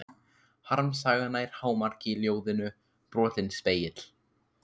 Harmsagan nær hámarki í ljóðinu Brotinn spegill.